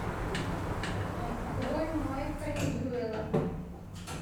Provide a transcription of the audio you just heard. открой майка ньюэла